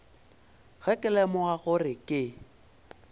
ge ke lemoga gore ke